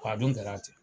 Wa a dun kɛra ten